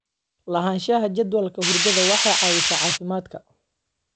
Lahaanshaha jadwalka hurdada waxay caawisaa caafimaadka.